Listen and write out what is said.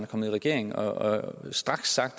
kommet i regering og straks sagt